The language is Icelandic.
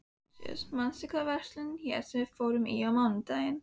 Jósúa, manstu hvað verslunin hét sem við fórum í á mánudaginn?